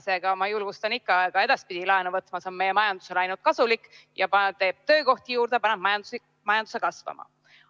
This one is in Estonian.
Seega ma julgustan ikka ka edaspidi laenu võtma, see on meie majandusele ainult kasulik, teeb töökohti juurde ja paneb majanduse kasvama.